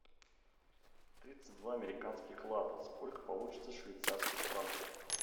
тридцать два американских лата сколько получится швейцарских франков